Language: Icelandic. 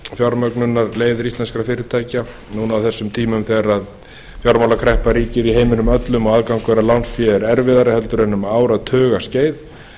fjármögnunarleiðir íslenskra fyrirtækja núna á þessum tímum þegar fjármálakreppa ríkir í heiminum öllum og aðgangur að lánsfé er erfiðari heldur en um áratugaskeið